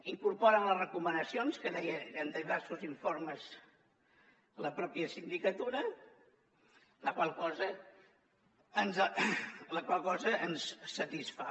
incorporen les recomanacions que deia en diversos informes la pròpia sindicatura la qual cosa ens satisfà